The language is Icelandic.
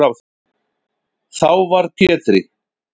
Þá varð Pétri